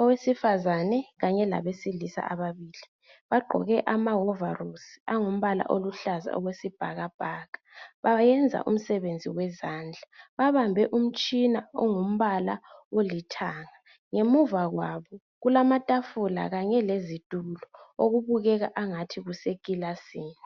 owesifazana kanye labesilisa ababili bagqoke amahovarosi angumbala oluhlaza okwesibhakabhaka, bayenza umsebenzi wezandla babambe umtshina ongumbala olithanga ngemuva kwabo kulamatafula kanye lezitulo okubukeka angathi kuse kilasini.